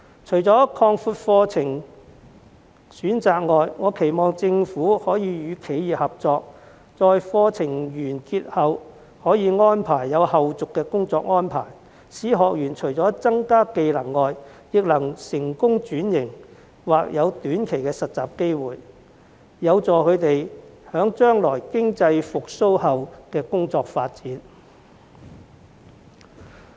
除擴闊課程選擇外，我期望政府與企業合作，可以在課程完結後提供後續的工作安排，使學員除可增加技能外，亦能成功轉型或有短期的實習機會，有助他們在將來經濟復蘇後的就業發展。